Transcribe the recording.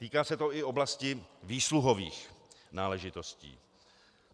Týká se to i oblasti výsluhových náležitostí.